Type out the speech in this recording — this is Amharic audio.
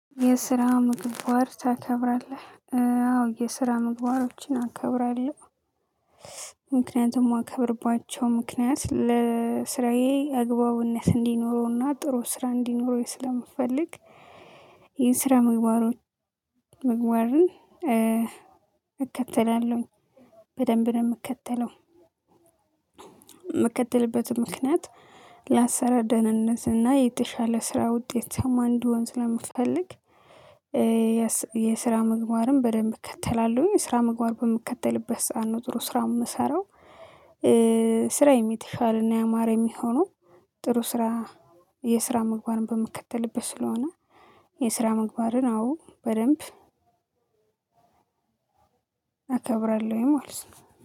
የስራ ምግባር ታከብራለህ አዎ የስራ ምግባሮችን አከብራለሁ ምክንያቱም እማከብርባቸው ምክንያት ለስራዬ አግባብነት እንዲኖረውና ጥሩ ስራ እንዲኖረው ስለምፈልግ። የስራ ምግባሮች ምግባርን እከተላለሁኝ በደንብ እምከተለው። የምከተልበትም ምክንያት ለአሰራር ደህንነት እና የተሻለ ስራ ውጤት እንድሆን ስለምፈልግ። የስራ ምግባርም በደንብ እከተላለሁኝ የስራ ምግባር በምከተልበት ሰዓት ነው ጥሩ ስራ የምሰራው። ስራዬም የተሻለና ያማረ የሚሆነው ጥሩ ስራ የስራ መግባርን በምክትልበት ስለሆነ። የስራ ምግባርን አዎ በደንብ አከብራለሁኝ ማለት ነው